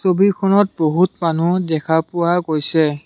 ছবিখনত বহুত মানুহ দেখা পোৱা গৈছে।